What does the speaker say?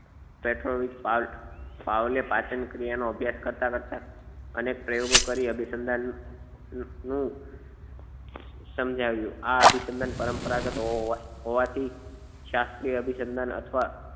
petrol પાવલે પાચનક્રિયા નો અભ્યાસ કરતા કરતા અનેક પ્રયોગો કરી અભિસંધાન નું શું સમજાવ્યું આ અભિસંધાન પરંપરાગત હોવા હોવાથી શાસ્ત્રીય અભિસંધાન અથવા